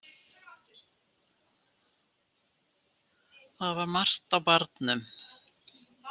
Það var margt á barnum.